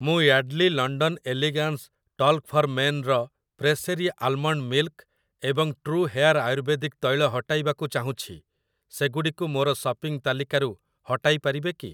ମୁଁ Yardley London elegance talc for men ର Pressery almond milk ଏବଂ ଟ୍ରୁ ହେୟାର୍ ଆୟୁର୍ବେଦିକ ତୈଳ ହଟାଇବାକୁ ଚାହୁଁଛି, ସେଗୁଡ଼ିକୁ ମୋର ସପିଂ ତାଲିକାରୁ ହଟାଇ ପାରିବେ କି?